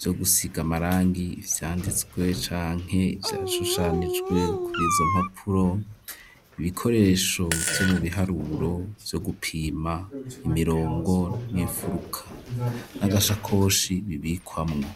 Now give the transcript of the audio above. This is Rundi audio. vyo gusiga amarangi ivyanditswe canke ivyashushanijwe, kuri izo mpapuro, ibikoresho vyo mu biharuro vyo gupima imirongo n'imfuruka, n'agashakoshi bibikwamwo.